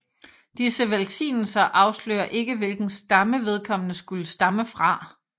Disse velsignelser afslører ikke hvilken stamme vedkommende skulle stamme fra